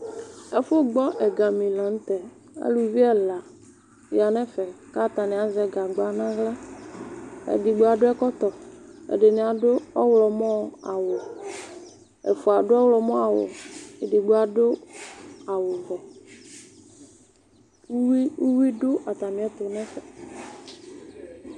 Ɛfʋ gbɔ ɛgani la nʋ tɛ Aluvi ɛla ya nʋ ɛfɛ kʋ atani azɛ gagba nʋ aɣla Edigbo adʋ ɛkɔtɔ, ɛdini adʋ ɔɣlɔmɔ awʋ Ɛfua adʋ ɔɣlɔmɔ awʋ, edigbo adʋ awʋ vɛ Uwui dʋ atamiɛtʋ nʋ ɛfɛ